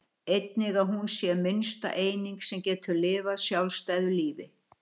einnig að hún sé minnsta eining sem getur lifað sjálfstæðu lífi